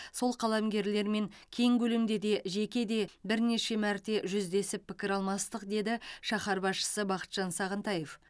сол қаламгерлермен кең көлемде де жеке де бірнеше мәрте жүздесіп пікір алмастық деді шаһар басшысы бақытжан сағынтаев